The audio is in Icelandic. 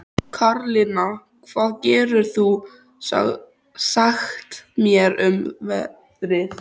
Karlinna, hvað geturðu sagt mér um veðrið?